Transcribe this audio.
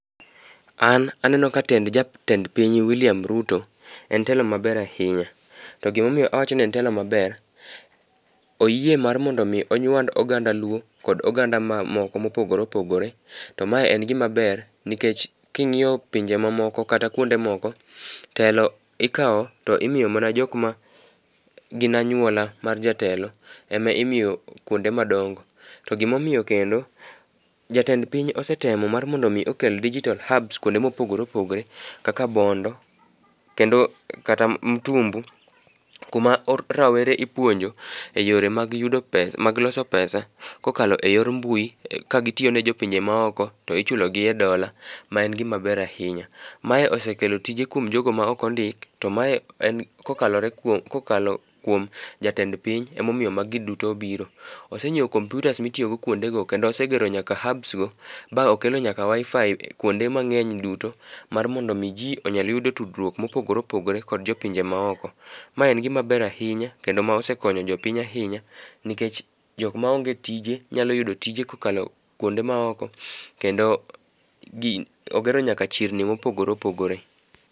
An aneno ka tend jatend piny wiliam Rito en telo maber ahinya. To gimomiyo awacho ni en telo maber oyie mondo mi onywand oganda luo kod oganda moko mopogore opogore. To mae en gima ber nikech king'iyo pinje mamoko kata kuonde moko telo ikawo to imiyo mana jok ma gin anyuola mar jatelo ema imiyo kuonde madongo. To gimomiyo kendo jatend piny osetemo mar mondo mi okel digital hubs kuonde mopogre opogore kaka bondo , kendo kata mtumbu kuma rawere ipuonjo e yore mag yudo pesa loso pesa kokalo e yor mbui ka gitiyo ne jopinje mamoko to ichulo gi e dola, ma en gima ber ahinya . Mae osekelo tije kuom jogo ma ok ondik to mae kokalore kuom jatend piny emomiyo magi duto biro. Osenyiewo komputas mitiyo go kuonde go kendo osegero nyaka nyaka hubs go ma okelo nyaka wifi kuonde mang'eny duto mar mondo mi jii onyal yudo tudruok mopogore opogore kod jopinje maoko. Mae en gima ber ahinye kendo mosekonyo jopiny ahinya nikech jok maonge tije nyalo yudo tije kokalo kuonde maoko kendo gi ogero nyaka chirni mopogore opogore.